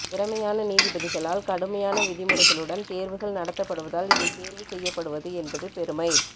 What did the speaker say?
திறைமையான நீதிபதிகளால் கடுமையான விதிமுறைகளுடன் தேர்வுகள் நடத்தப்படுவதால் இதில் தேர்வு செய்யப்படுவது என்பது பெருமை